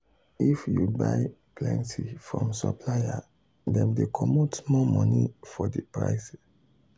if you buy plenty from supplier dem dey comot small money for the price